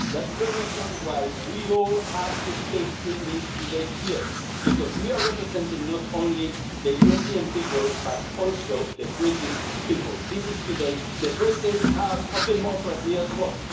That's the reason why we must all speak English here today, because we are representing not only the European people, but also the British people. This is today the British House of democracy as well.